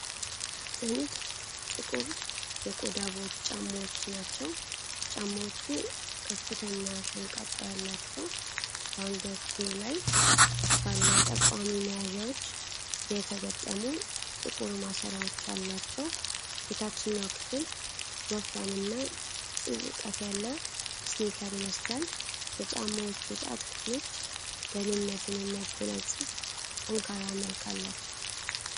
ጥንድ ጥቁር የቆዳ ቦት ጫማዎች ናቸው። ጫማዎቹ ከፍተኛ ሸንቃጣ ያላቸው፣ በአንገትጌው ላይ ባለ ጠቋሚ መያዣዎች የተገጠሙ ጥቁር ማሰሪያዎች አሏቸው። የታችኛው ክፍል ወፍራም እና ጥልቀት ያለው ስኒከር ይመስላል። የጫማዎቹ ጣት ክፍሎች ደህንነትን የሚያጎናጽፍ ጠንካራ መልክ አላቸው።